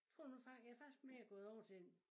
Tror nu faktisk jeg faktisk mere gået over til en